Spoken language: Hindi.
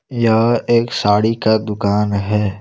यह एक साड़ी का दुकान है।